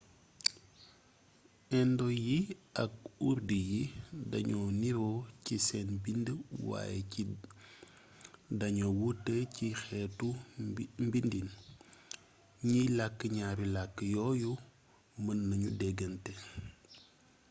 indo yi ak urdu yi dañoo niiro ci seen bind waaye ci dañoo wuute ci xeetu bindiin ñiy lakk ñaari lakk yooyu mën nañu dégante